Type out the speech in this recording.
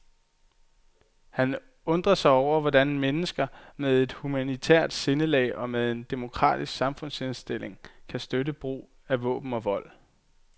Han undrer sig over, hvordan mennesker med et humanitært sindelag og med en demokratisk samfundsindstilling kan støtte brug af våben og vold.